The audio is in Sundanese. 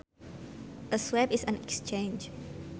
A swap is an exchange